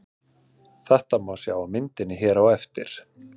Þetta má sjá á myndinni hér á eftir.